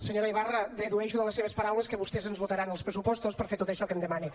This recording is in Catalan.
senyora ibarra dedueixo de les seves paraules que vostès ens votaran els pressupostos per fer tot això que em demana